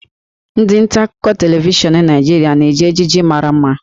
Ndị nta akụkọ televishọn Naịjirịa na-eji ejiji mara mma